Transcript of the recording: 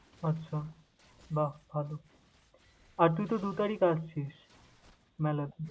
আচ্ছা, বাহ্ ভালো! আর তুই তো দু তারিখ আসছিস মেলাতে।